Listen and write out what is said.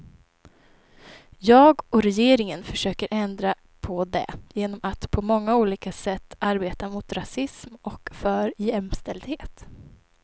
Jag och regeringen försöker ändra på det genom att på många olika sätt arbeta mot rasism och för jämställdhet.